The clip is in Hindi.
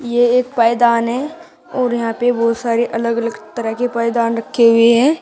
ये एक पायदान है और यहां पे बहोत सारे अलग अलग तरह के पायदान रखे हुए हैं।